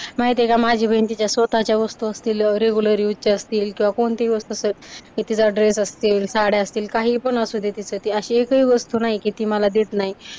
माहिती आहे का माझी बहीण तिच्या स्वतःच्या वस्तु असतील रेग्युलर यूजच्या असतील किंवा कोणत्याही वस्तु असं तिचा ड्रेस असतील, साड्या असतील, काहीपण असुदे तिचं ते अशी एक ही वस्तु नाही की ती मला देत नाही.